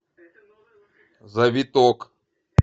завиток